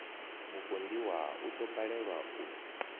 mupondiwa u ḓo balelwa u